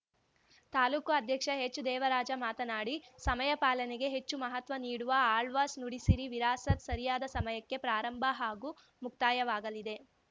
ತಾಲೂಕು ಅಧ್ಯಕ್ಷ ಹೆಚ್‌ದೇವರಾಜ ಮಾತನಾಡಿ ಸಮಯ ಪಾಲನೆಗೆ ಹೆಚ್ಚು ಮಹತ್ವ ನೀಡುವ ಆಳ್ವಾಸ್‌ ನುಡಿಸಿರಿ ವಿರಾಸತ್‌ ಸರಿಯಾದ ಸಮಯಕ್ಕೆ ಪ್ರಾರಂಭ ಹಾಗೂ ಮುಕ್ತಾಯವಾಗಲಿದೆ